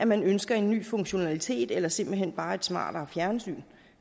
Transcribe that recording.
man ønsker en ny funktionalitet eller simpelt hen bare et smartere fjernsyn